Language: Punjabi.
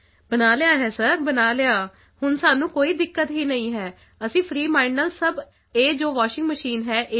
ਬਣਾ ਲਿਆ ਹੈ ਸਰ ਬਣਾ ਲਿਆ ਹੁਣ ਸਾਨੂੰ ਕੋਈ ਦਿੱਕਤ ਹੀ ਨਹੀਂ ਹੈ ਅਸੀਂ ਫਰੀ ਮਾਈਂਡ ਨਾਲ ਸਭ ਇਹ ਜੋ ਵਾਸ਼ਿੰਗ ਮਸ਼ੀਨ ਹੈ ਏ